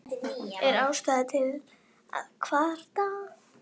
Er ástæða til að kvarta?